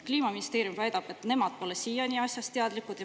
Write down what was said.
Kliimaministeerium väidab, et nemad pole siiani asjast teadlikud.